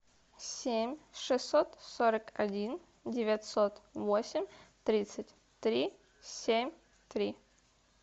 семь шестьсот сорок один девятьсот восемь тридцать три семь три